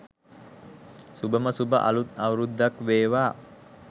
සුභම සුභ අළුත් අවුරුද්දක් වේවා.